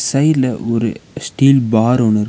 சைடுல ஒரு steel bar ஒன்னு இரு.